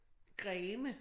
Grene